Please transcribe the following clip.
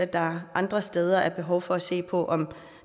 der andre steder er behov for at se på om